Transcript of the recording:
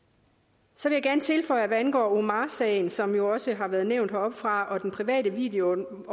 så vil jeg gerne tilføje at hvad angår omar sagen som jo også har været nævnt heroppefra og den private videoovervågning